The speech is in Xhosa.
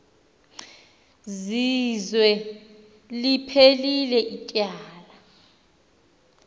zizwe liphelil ityala